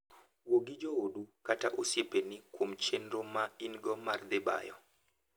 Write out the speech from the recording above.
Wuo gi joodu kata osiepeni kuom chenro ma in-go mar dhi bayo.